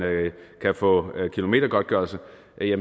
kan få kilometergodtgørelse